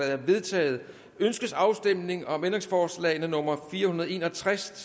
er vedtaget ønskes afstemning om ændringsforslag nummer fire hundrede og en og tres